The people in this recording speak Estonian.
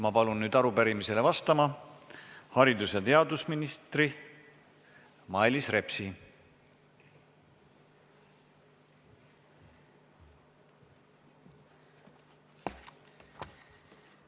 Ma palun arupärimisele vastama haridus- ja teadusministri Mailis Repsi!